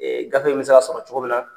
Ee gafe in be se ka sɔrɔ cogo min na